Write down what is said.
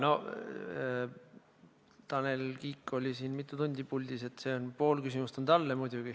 No Tanel Kiik oli siin mitu tundi puldis, pool teie küsimust on talle.